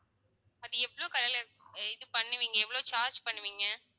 அது எவ்வளவு color ல இது பண்ணுவீங்க எவ்வளவு charge பண்ணுவீங்க